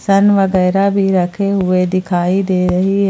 San वगैरा भी रखे हुए दिखाई दे रही है।